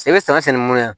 I bɛ saga sɛnɛ mun ya